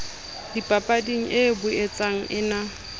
dipapading e boetsa e na